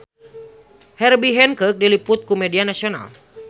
Herbie Hancock diliput ku media nasional